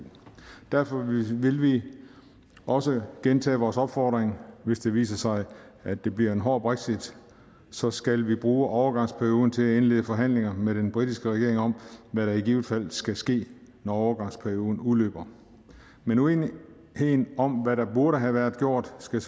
derfor vil vi også gentage vores opfordring hvis det viser sig at det bliver en hård brexit så skal vi bruge overgangsperioden til at indlede forhandlinger med den britiske regering om hvad der i givet fald skal ske når overgangsperioden udløber men uenigheden om hvad der burde have været gjort skal